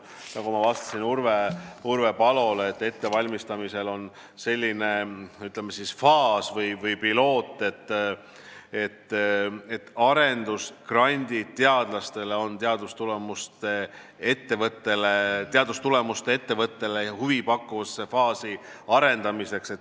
Nagu ma vastasin Urve Palole, ettevalmistamisel on arendusgrandid teadlastele teadustulemuste ettevõttele huvi pakkuvasse faasi arendamiseks.